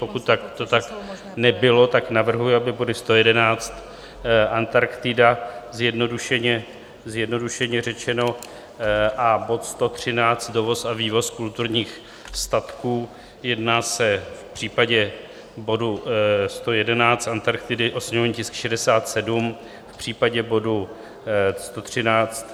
Pokud to tak nebylo, tak navrhuji, aby body 111, Antarktida, zjednodušeně řečeno, a bod 113, dovoz a vývoz kulturních statků - jedná se v případě bodu 111, Antarktidy, o sněmovní tisk 67, v případě bodu 113,